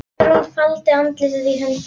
Hugrún faldi andlitið í höndum sér.